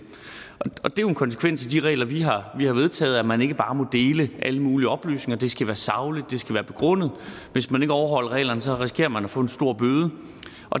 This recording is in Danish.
er jo en konsekvens af de regler vi har har vedtaget at man ikke bare må dele alle mulige oplysninger det skal være sagligt og begrundet og hvis man ikke overholder reglerne risikerer man at få en stor bøde